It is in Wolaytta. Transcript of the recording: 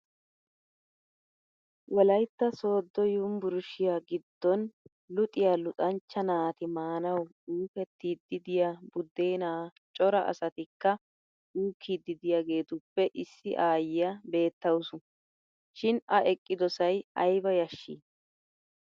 Wolaytta sooddo yumbrshshiya giddon luxiya luxanchcha naati maanawu uukettiidi diya buddena cora asatikka uukkiddi diyageettuppe issi aayiya beetawusu. Shin a eqqidosay ayba yashshii!